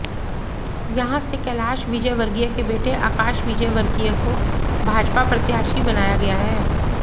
यहां से कैलाश विजयवर्गीय के बेटे आकाश विजयवर्गीय को भाजपा प्रत्याशी बनाया गया है